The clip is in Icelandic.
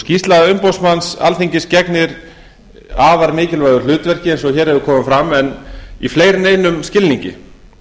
skýrsla umboðsmanns alþingis gegnir afarmikilvægu hlutverki eins og hér hefur komið fram en í fleiri en einum skilningi